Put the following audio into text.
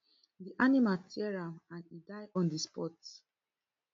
di animal tear am and e die on di spot